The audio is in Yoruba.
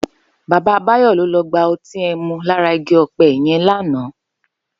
Baba Bayo ló lò gbá òtín èmú làrá igi òpè yèn làná